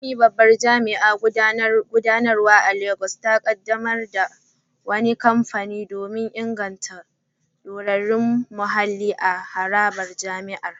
Funmi, babban jami’in gudanarwa a Legas, ta kaddamar da wani kamfen don inganta dorewar muhalli a harabar jami’ar.